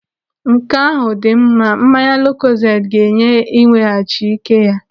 Nke ahụ dị mma. Mmanya lukozedi ga-enye iweghachi ike ya.